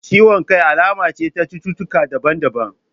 Ciwon kai alama ce ta cututtaka daban daban